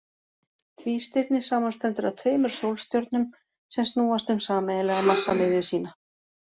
Tvístirni samanstendur af tveimur sólstjörnum sem snúast um sameiginlega massamiðju sína.